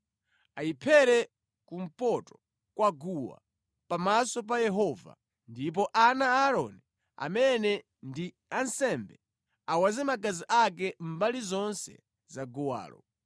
Ayiphere kumpoto kwa guwa, pamaso pa Yehova, ndipo ana a Aaroni amene ndi ansembe, awaze magazi ake mbali zonse za guwalo.